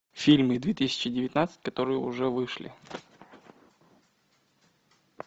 фильмы две тысячи девятнадцать которые уже вышли